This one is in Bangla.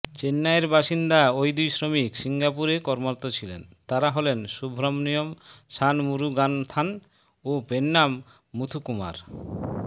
চেন্নাইয়ের বাসিন্দা ওই দুই শ্রমিক সিঙ্গাপুর কর্মরত ছিলেন তারা হলেন সুব্রমণিয়ম শানমুরুগানাথন ও পোন্নান মুথুকুমার